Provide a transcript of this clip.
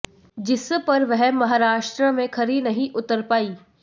जिस पर वह महाराष्ट्र में खरी नहीं उतर पाई